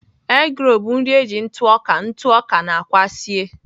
Eggroll bụ nri e ji ntụ ọka ntụ ọka na àkwá sie